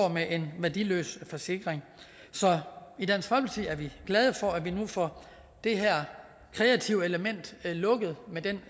med en værdiløs forsikring så i dansk folkeparti er vi glade for at vi nu får det her kreative element lukket med den